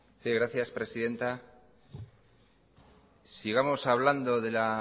sí gracias presidenta sigamos hablando de la